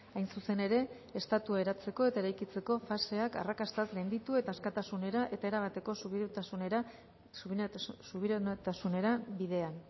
hain zuzen ere estatua eratzeko eta eraikitzeko faseak arrakastaz gainditu eta askatasunera eta erabateko subiranotasunera bidean